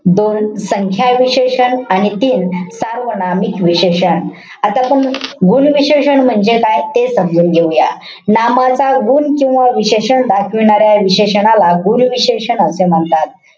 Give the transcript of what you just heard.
दोन, संख्या विशेषण. आणि तीन, सार्वनामिक विशेषण. आता आपण गुण विशेषण म्हणजे काय ते समजून घेऊया. नामाचा गुण किंवा विशेषण दाखविणाऱ्या विशेषनाला गुण विशेषण असे म्हणतात.